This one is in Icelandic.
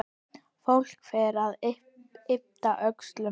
Fólk fer að yppta öxlum.